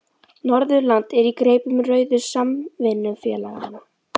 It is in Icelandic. Norðurland er í greipum rauðu samvinnufélaganna.